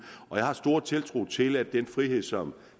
jeg har stor tiltro til at den frihed som